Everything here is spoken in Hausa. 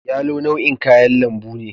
yalo nau'in kayan lambu ne